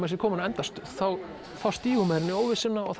sé kominn á endastöð þá stígur maður inn í óvissuna og